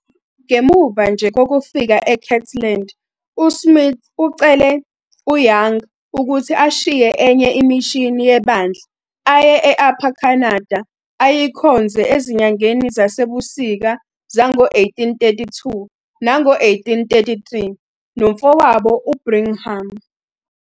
Ngemuva nje kokufika eKirtland, USmith ucele uYoung ukuthi ashiye enye imishini yebandla aye e-Upper Canada, ayikhonze ezinyangeni zasebusika zango-1832 nango-1833 nomfowabo uBrigham.